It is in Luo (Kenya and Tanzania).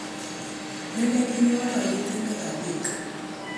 Neneginyuolo nyidendi adek.